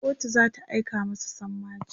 kotu zata aika masa sammaci